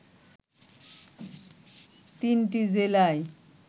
তিনটি জেলায়